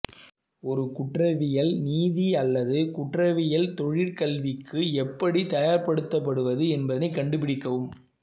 ஒரு குற்றவியல் நீதி அல்லது குற்றவியல் தொழிற்கல்விக்கு எப்படி தயார்படுத்தப்படுவது என்பதைக் கண்டுபிடிக்கவும்